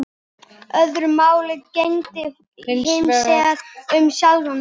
Öðru máli gegndi hinsvegar um sjálfan mig.